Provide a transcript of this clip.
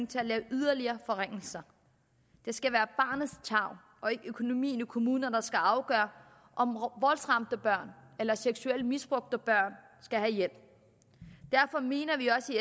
til at lave yderligere forringelser det skal være barnets tarv og ikke økonomien i kommunerne der skal afgøre om voldsramte eller seksuelt misbrugte børn skal have hjælp derfor mener vi i